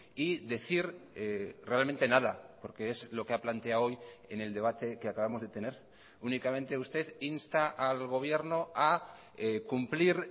y decir realmente nada porque es lo que ha planteado hoy en el debate que acabamos de tener únicamente usted insta al gobierno a cumplir